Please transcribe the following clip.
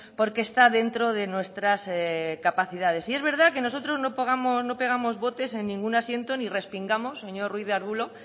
porque está dentro de nuestras capacidades es verdad que nosotros no pegamos botes en ningún asiento ni respingamos señor ruiz de arbulo